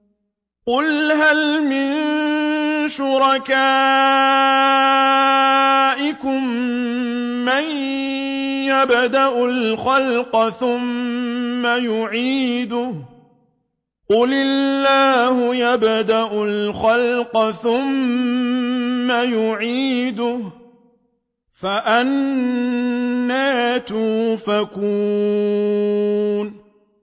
قُلْ هَلْ مِن شُرَكَائِكُم مَّن يَبْدَأُ الْخَلْقَ ثُمَّ يُعِيدُهُ ۚ قُلِ اللَّهُ يَبْدَأُ الْخَلْقَ ثُمَّ يُعِيدُهُ ۖ فَأَنَّىٰ تُؤْفَكُونَ